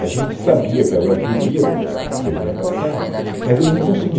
A gente sabia que ela viria, porque a passar, mas eles não conseguiam.